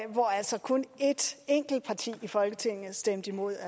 hvor altså kun et enkelt parti i folketinget stemte imod